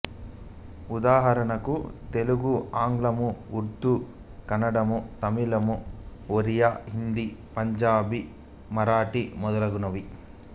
ఉదాహరణకు తెలుగు ఆంగ్లము ఉర్దూ కన్నడము తమిళము ఒరియా హిందీ పంజాబీ మరాఠీ మొదలగునవి